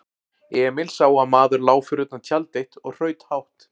Emil sá að maður lá fyrir utan tjald eitt og hraut hátt.